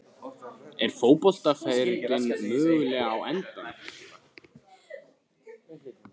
Er fótboltaferillinn mögulega á enda?